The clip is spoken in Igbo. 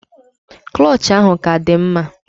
Klọch ahụ ka dị mma.